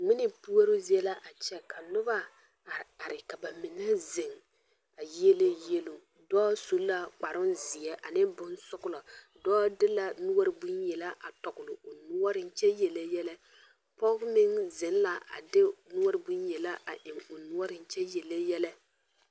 Ŋmene puoroo zie la a kyɛ ka noba are are ka ba mine zeŋ a yiele yeloŋ dɔɔ su la kparoŋ zeɛ ane bonsɔglɔ dɔɔ de la noɔre bonyelaa a tɔgle o noɔreŋ kyɛ yelle yɛlɛ pɔge meŋ zeŋ la a de noɔre bonyela a eŋ a yelle yɛlɛ.